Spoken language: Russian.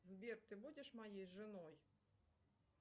сбер ты будешь моей женой